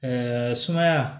sumaya